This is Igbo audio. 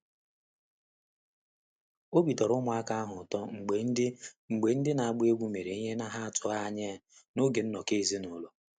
Obi tọrọ ụmụaka ahụ ụtọ mgbe ndị mgbe ndị na-agba egwú mere ihe ha na atụghị anya ya n’oge nnọkọ ezinụlọ.